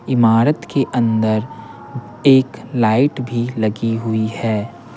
इमारत के अंदर एक लाइट भी लगी हुई है।